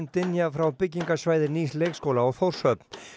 dynja frá byggingarsvæði nýs leikskóla á Þórshöfn